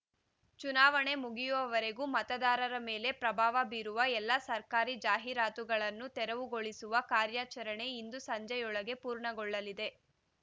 ಚುನಾವಣೆ ಮುಗಿಯುವವರೆಗೂ ಮತದಾರರ ಮೇಲೆ ಪ್ರಭಾವ ಬೀರುವ ಎಲ್ಲಾ ಸರ್ಕಾರಿ ಜಾಹೀರಾತುಗಳನ್ನು ತೆರವುಗೊಳಿಸುವ ಕಾರ್ಯಾಚರಣೆ ಇಂದು ಸಂಜೆಯೊಳಗೆ ಪೂರ್ಣಗೊಳ್ಳಲಿದೆ